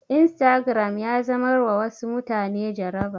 Instagram ya zamar wa wasu mutane jaraba